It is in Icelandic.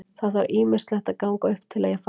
Það þarf ýmislegt að ganga upp til að ég fari.